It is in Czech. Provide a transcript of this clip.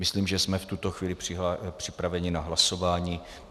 Myslím, že jsme v tuto chvíli připraveni na hlasování.